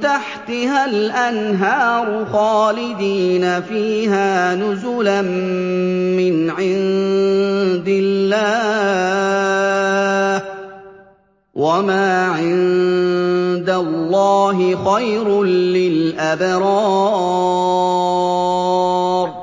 تَحْتِهَا الْأَنْهَارُ خَالِدِينَ فِيهَا نُزُلًا مِّنْ عِندِ اللَّهِ ۗ وَمَا عِندَ اللَّهِ خَيْرٌ لِّلْأَبْرَارِ